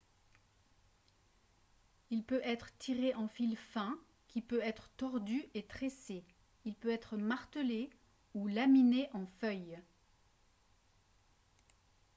il peut être tiré en fil fin qui peut être tordu et tressé il peut être martelé ou laminé en feuilles